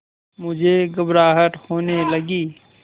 मुझे घबराहट होने लगी